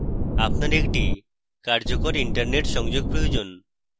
আপনার একটি কার্যকর internet সংযোগ প্রয়োজন